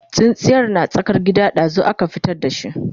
tsintsiyar na tsakar gida, ɗazun aka fitar da shi